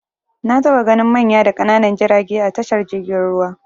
Na taɓa ganin manya da ƙananan jirage a tashar jirgin ruwa.